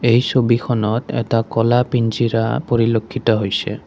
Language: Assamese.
এই ছবিখনত এটা ক'লা পৰিলক্ষিত হৈছে।